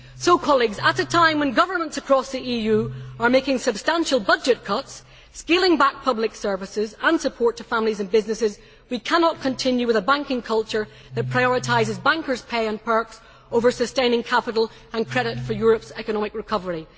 So, colleagues, at a time when governments across the EU are making substantial budget cuts, scaling back public services and support to families and businesses, we cannot continue with a banking culture that prioritises bankers' pay and perks over sustaining capital and credit for Europe's economic recovery.